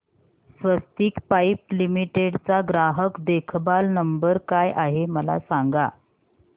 स्वस्तिक pipe limited चा ग्राहक देखभाल नंबर काय आहे मला सांगा